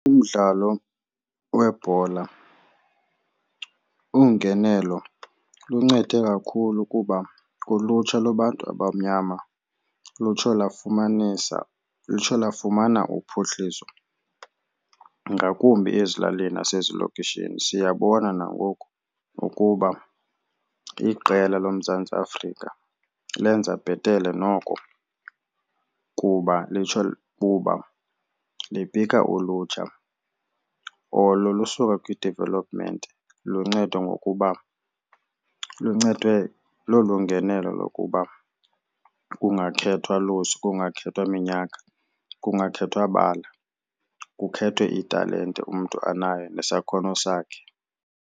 Umdlalo webhola ungenelo luncede kakhulu kuba kulutsha lwabantu abamnyama lutsho lafumanisa lutsho lafumana uphuhliso ngakumbi ezilalini nasezilokishini. Siyabona nangoku ukuba iqela loMzantsi Afrika lenza bhetele noko kuba liphikha ulutsha olo lusuka kwi-development lunceda ngokuba luncedwe lolu ngenelo lokuba kungakhethwa kungakhethwa minyaka kungakhethwa bala kukhethwe italente umntu anayo nesakhono sakhe.